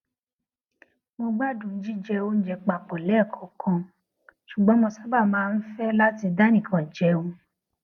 mo gbádùn jíjẹ oúnjẹ papò léèkòòkan ṣùgbọn mo sábà máa ń fé láti dánìkan jẹun